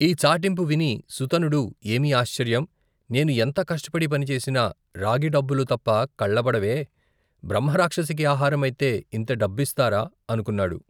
ఈ చాటింపు విని సుతనుడు ఏమి ఆశ్చర్యం, నేను ఎంత కష్టపడి పని చేసినా, రాగి డబ్బులు తప్ప కళ్ళబడవే, బ్రహ్మ రాక్షసికి ఆహారమైతే ఇంత డబ్బిస్తారా అనుకున్నాడు.